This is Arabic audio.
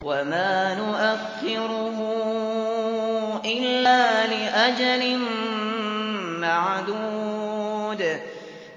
وَمَا نُؤَخِّرُهُ إِلَّا لِأَجَلٍ مَّعْدُودٍ